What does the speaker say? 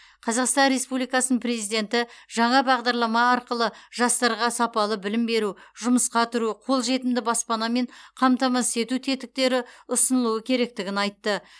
қазақстан республикасының президенті жаңа бағдарлама арқылы жастарға сапалы білім беру жұмысқа тұру қолжетімді баспанамен қамтамасыз ету тетіктері ұсынылуы керектігін айтты